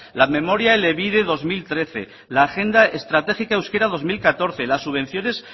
la memoria elebide dos mil trece la agenda estratégica euskera dos mil catorce las subvenciones